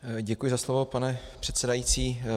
Děkuji za slovo, pane předsedající.